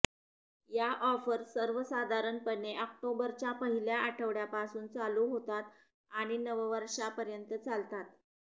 या ऑफर्स सर्वसाधारणपणे ऑक्टोबरच्या पहिल्या आठवडयापासून चालू होतात आणि नववर्षापर्यंत चालतात